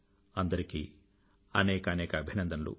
అందరికీ అనేకానేక అభినందనలు